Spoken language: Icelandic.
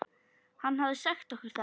Hann hafði sagt okkur það.